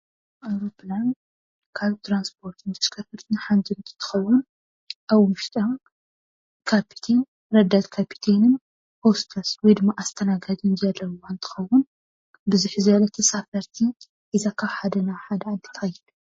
ኣዉሮፕላን ካብ ትራንስፖርት ተርከረከርትን ሓንቲ እንትኸውን፣ ኣብ ውሽጣ ካፕቴን ረዳት ካፕቴንን ሆስተስ ወይድማ ኣስተናጋጅን ዘለዉዋ እንትኸውን ብዙሕ ዝበሉ ተሳፈርቲ ሒዛ ካብ ሓደ ናብ ሓደ ዓዲ ትከይድ።